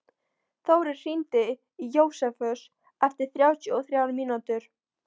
Þórir, hringdu í Jósefus eftir þrjátíu og þrjár mínútur.